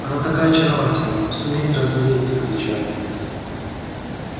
она такая очаровательная сумеет развеять их печаль